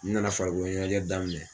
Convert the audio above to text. N nana farikolo ɲɛnajɛ daminɛ.